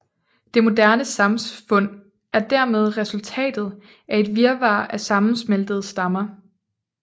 Det moderne samfund er dermed resultatet af et virvar af sammensmeltede stammer